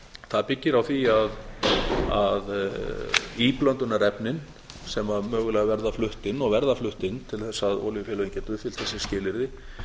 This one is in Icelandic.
það byggir á því að íblöndunarefnin sem mögulega verða flutt inn og verða flutt inn til þess að olíufélögin geti uppfyllt þessi skilyrði